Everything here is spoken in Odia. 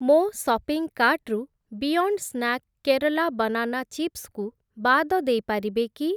ମୋ ସପିଂ କାର୍ଟ୍‌ରୁ beyond snack Kerala banana chips କୁ ବାଦ ଦେଇପାରିବେ କି?